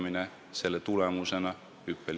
Aitäh, Vabariigi Valitsuse liikmed!